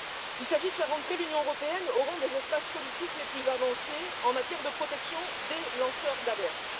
Il s'agit de faire de l'Union européenne l'un des espaces politiques les plus avancés en matière de protection des lanceurs d'alerte.